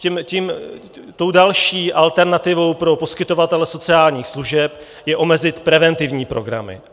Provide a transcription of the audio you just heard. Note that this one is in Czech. Tou další alternativou pro poskytovatele sociálních služeb je omezit preventivní programy.